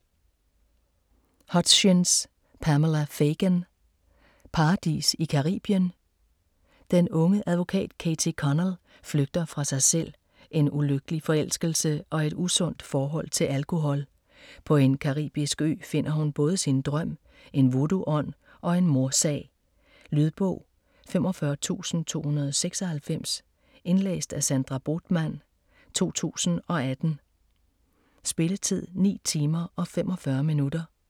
Hutchins, Pamela Fagan: Paradis i Caribien? Den unge advokat, Katie Connell, flygter fra sig selv, en ulykkelig forelskelse og et usundt forhold til alkohol. På en caribisk ø finder hun både sin drøm, en vodoo-ånd og en mordsag. Lydbog 45296 Indlæst af Sandra Bothmann, 2018. Spilletid: 9 timer, 45 minutter.